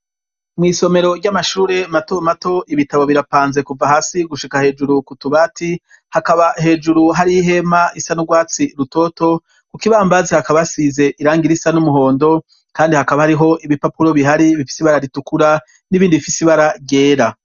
mwisomero ry'amashuri mato mato ibitabo birapanze kuva hasi gushika hejuru ku tubati hakaba hejuru hari ihema isa n'urwatsi rutoto ku kibambazi hakaba hasize irangi risa n'umuhondo kandi hakaba hariho ibipapuro bihari bifise ibara ritukura n'ibindi bifisi ibara ryera